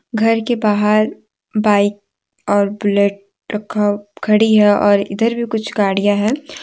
घर के बाहर बाइक और बुलेट रखा है खड़ी है और इधर भी कुछ गाड़ियां हैं।